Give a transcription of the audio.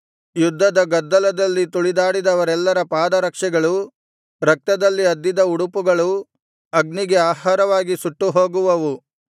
ಯುದ್ಧದ ಗದ್ದಲದಲ್ಲಿ ತುಳಿದಾಡಿದವರೆಲ್ಲರ ಪಾದರಕ್ಷೆಗಳೂ ರಕ್ತದಲ್ಲಿ ಅದ್ದಿದ ಉಡುಪುಗಳೂ ಅಗ್ನಿಗೆ ಆಹಾರವಾಗಿ ಸುಟ್ಟುಹೋಗುವವು